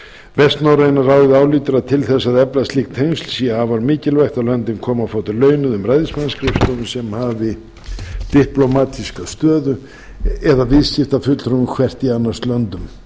vestnorræna ráðið álítur að til þess að efla ríki tengsl sé afar mikilvægt að löndin komi á fót launuðum ræðismannsskrifstofum sem hafi diplómatíska stöðu eða viðskiptafulltrúum hvert í annars löndum